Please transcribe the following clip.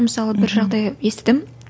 мысалы бір жағдай естідім